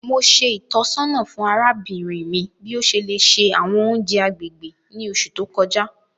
Mo ṣe ìtọ́sọ́nà fún arábìnrin mi bi o ṣe le ṣe àwọn ounjẹ agbègbè ni oṣù to kọjá.